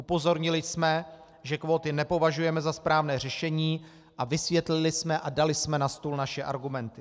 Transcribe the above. Upozornili jsme, že kvóty nepovažujeme za správné řešení, a vysvětlili jsme a dali jsme na stůl naše argumenty.